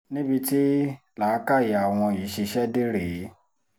níbi tí làákàyè àwọn yìí ṣiṣẹ́ dé rèé